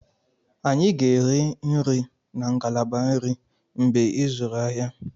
Anyị ga-eri nri na ngalaba nri mgbe ịzụrụ ahịa.